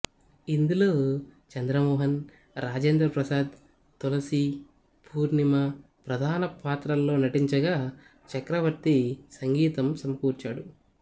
ఇందులో చంద్ర మోహన్ రాజేంద్ర ప్రసాద్ తులసి పూర్ణిమ ప్రధాన పాత్రల్లో నటించగా చక్రవర్తి సంగీతం సమకూర్చాడు